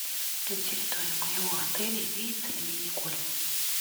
на территории моего отеля имеется ли мини гольф